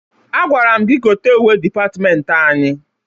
Agwara m gị gote uwe dịpatịmentị anyị.